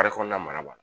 Baara kɔnɔna mara ba